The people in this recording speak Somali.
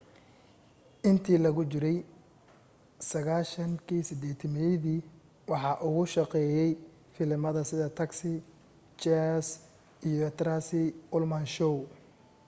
intii lagu jiray 1980-meyadi waxa uu ka shaqeeye filimada sida taxi cheers iyo the tracy ullman show